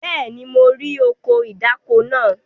Bẹ́ẹ̀ni, mo rí ọkọ̀ ìdáko náà.